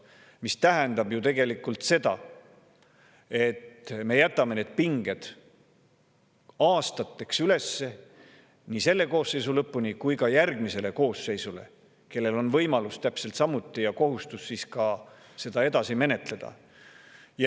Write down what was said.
See tähendab ju tegelikult seda, et me jätame need pinged aastateks üles, nii selle koosseisu lõpuni kui ka järgmisele koosseisule, kellel on siis täpselt samuti võimalus ja kohustus seda edasi menetleda.